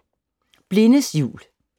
Blindes jul